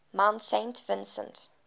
mount saint vincent